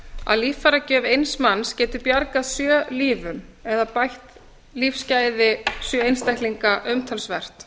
að líffæragjöf eins manns getur bjargað sjö lífum eða bætt lífsgæði sjö einstaklinga umtalsvert